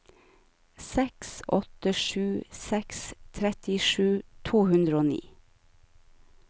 seks åtte sju seks trettisju to hundre og ni